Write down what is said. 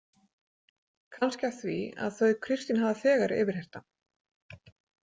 Kannski af því að þau Kristín hafa þegar yfirheyrt hann.